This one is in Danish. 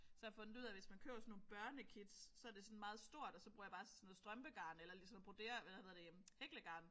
Så har jeg fundet ud af hvis man køber sådan nogle børnekits så er det sådan meget stort og så bruger jeg sådan noget strømpegarn eller ligesom sådan noget broder eller hvad hedder det hæklegarn